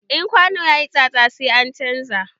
In kwano yayi tsatsa, sai an chanza.